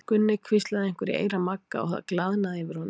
Gunni hvíslaði einhverju í eyra Magga og það glaðnaði yfir honum.